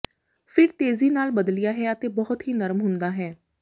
ਫਿਰ ਤੇਜ਼ੀ ਨਾਲ ਬਦਲਿਆ ਹੈ ਅਤੇ ਬਹੁਤ ਹੀ ਨਰਮ ਹੁੰਦਾ ਹੈ